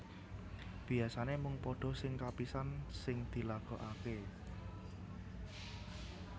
Biasané mung pada sing kapisan sing dilagokaké